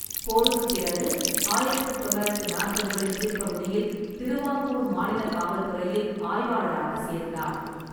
போருக்குப் பிறகு, ஆயிரத்து தொள்ளாயிரத்து நாற்பதுகளின் பிற்பகுதியில் திருவாங்கூர் மாநில காவல்துறையில் ஆய்வாளராக சேர்ந்தார்.